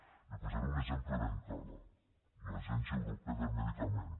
li’n posaré un exemple ben clar l’agència europea del medicament